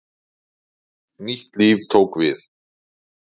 Nýtt líf tók við.